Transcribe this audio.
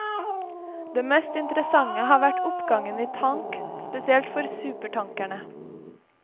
Det mest interessante har vært oppgangen i tank, spesielt for supertankerne.